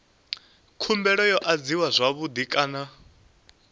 khumbelo yo adziwa zwavhui kana